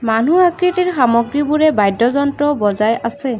মানু্হ আকৃতিৰ সামগ্ৰীবোৰে বাদ্যযন্ত্ৰ বজাই আছে।